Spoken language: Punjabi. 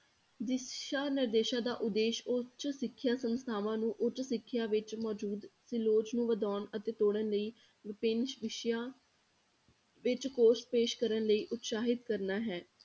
ਦਿਸ਼ਾ ਨਿਰਦੇਸ਼ਾਂ ਦਾ ਉਦੇਸ਼ ਉੱਚ ਸਿੱਖਿਆ ਸੰਸਥਾਵਾਂ ਨੂੰ ਉੱਚ ਸਿੱਖਿਆ ਵਿੱਚ ਮੌਜੂਦ ਅਤੇ ਲੋਚ ਨੂੰ ਵਧਾਉਣ ਅਤੇ ਤੋੜਨ ਲਈ ਵਿਭਿੰਨ ਵਿਸ਼ਿਆਂ ਵਿੱਚ ਪੇਸ਼ ਕਰਨ ਲਈ ਉਤਸਾਹਿਤ ਕਰਨਾ ਹੈ